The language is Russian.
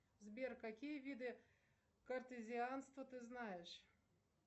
сбер какие виды картозианства ты знаешь